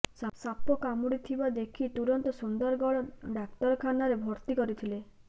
ସାପ କାମୁଡିଥିବା ଦେଖି ତୁରନ୍ତ ସୁନ୍ଦରଗଡ଼ ଡାକ୍ତରଖାନାରେ ଭର୍ତ୍ତି କରିଥିଲେ